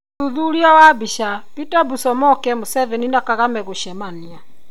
ũthuthuria wa mbica :Peter Busomoke Museveni na Kagame gũcemania ?